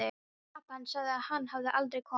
Pabbi hans sagði að hann hefði aldrei komið.